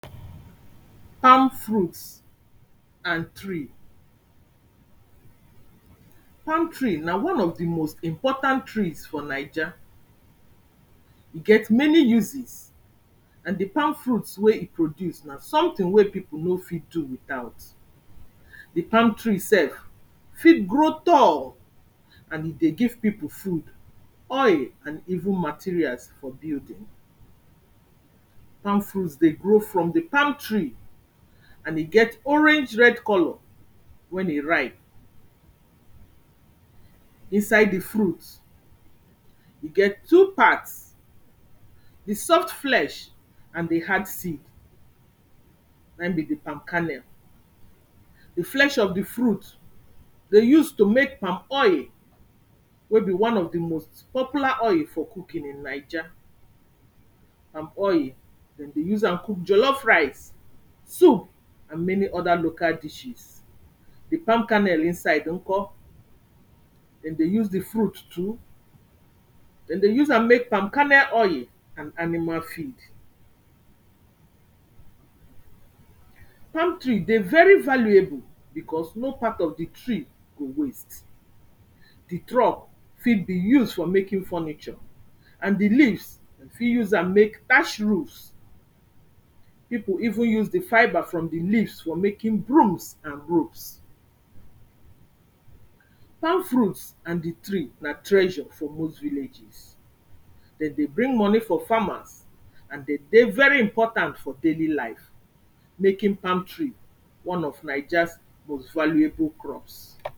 palm fruits and tree palm tree na one of de most important trees for naija e get many uses and de palm fruit wey e produce na sometin wey pipu no fit do without de palm tree sef fit grow tall and e dey give pipu food oil and even materials for building palm fruit dey grow from de palm tree and e get orange red colour wen e ripe inside de fruits e get two parts de soft flesh and de hard seed na him be de palm kernel de flesh of de fruit dey use to make palm oil wey be one of de most popular oil for cooking in naija palm oil dem dey use am cook jollof rice soup and many oda local dishes de palm kernel inside nkor dem dey use de fruit too dem dey use am make palm kernel oil and animal feed palm tree dey very valuable because no part of de tree go waste de trop fit be used for making furniture and de leaves you fit use am make thatched roofs pipu even use de fibre from de leaves for making brooms and ropes palm fruits and de tree na treasure for most villages dem dey bring moni for farmers and de dey very important for daily life making palm tree one of naijas most valueable crops